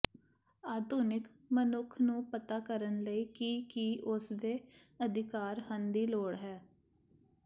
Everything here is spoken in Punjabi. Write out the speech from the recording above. ਆਧੁਨਿਕ ਮਨੁੱਖ ਨੂੰ ਪਤਾ ਕਰਨ ਲਈ ਕਿ ਕੀ ਉਸ ਦੇ ਅਧਿਕਾਰ ਹਨ ਦੀ ਲੋੜ ਹੈ